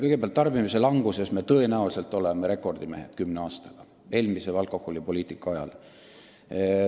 Kõigepealt, tarbimise languses kümne aastaga ehk eelmise alkoholipoliitika ajal me tõenäoliselt oleme rekordimehed.